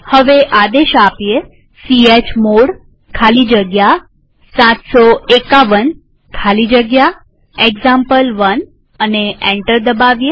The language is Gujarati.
હવે આદેશ ચમોડ ખાલી જગ્યા 751 ખાલી જગ્યા એક્ઝામ્પલ1 લખીએ અને એન્ટર દબાવીએ